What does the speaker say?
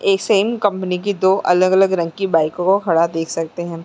एक same company की दो अलग-अलग रंग की बाइकों को खड़ा देख सकते हैं।